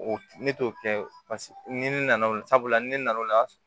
O ne t'o kɛ paseke ni ne nana o la sabula ni ne nana o la